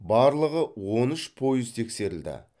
барлығы он үш пойыз тексерілді